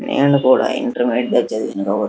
నేను కూడ ఇంటెరమేడియట్ లో చదివాను --